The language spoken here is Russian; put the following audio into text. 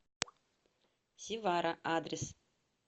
севара адрес